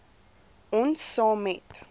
ons saam met